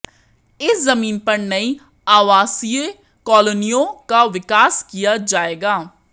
इस जमीन पर नई आवासीय कॉलोनियों का विकास किया जाएगा